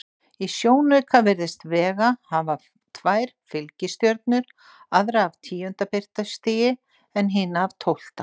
Í sjónauka virðist Vega hafa tvær fylgistjörnur, aðra af tíunda birtustigi en hina af tólfta.